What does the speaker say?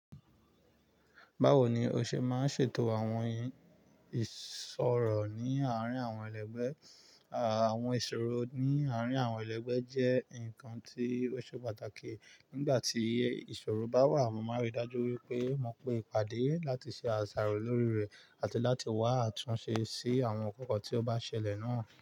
Bawo ni o ṣe máa ń ṣètò àwọn ìsọ̀rọ̀ ní àárín àwọn ẹlẹgbẹ́? Àwọn ìsọ̀rọ̀ ní àárín àwọn ẹlẹgbẹ́ jẹ́ nǹkan tí ó ṣe pàtàkì. Nígbà tí ìṣòro bá wà, mo máa ríi dájú wípé mo pé pàdé láti ṣe àṣàrò lórí rẹ̀ àti láti wá àtúnṣe sí àwọn nkankan tí ó bá ṣẹlẹ̀ náà.